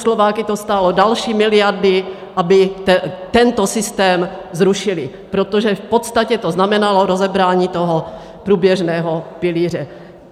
Slováky to stálo další miliardy, aby tento systém zrušili, protože v podstatě to znamenalo rozebrání toho průběžného pilíře.